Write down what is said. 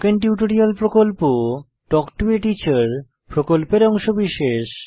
spoken tutorial প্রকল্প talk to a teacher প্রকল্পের অংশবিশেষ